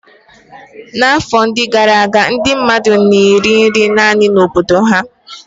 N'afọ ndị gara aga, ndị mmadụ na-eri naanị nri obodo ha.